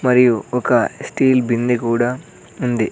మరియు ఒక స్టీల్ బిందె కుడా ఉంది.